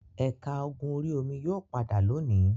Ẹ̀ka ogun orí-omi yóò padà lónìí.